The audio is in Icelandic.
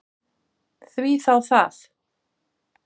Því þá það?